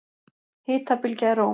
Hitabylgja í Róm